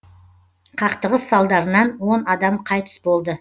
қақтығыс салдарынан он адам қайтыс болды